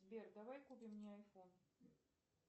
сбер давай купим мне айфон